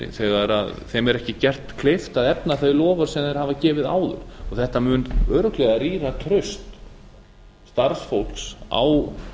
þegar þeim er ekki gert kleift að efna þau loforð sem þeir hafa gefið áður þetta mun örugglega rýra traust starfsfólks á